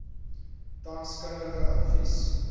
tans kundige advies